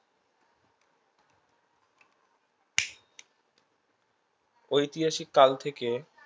ঐতিহাসিক কাল থেকে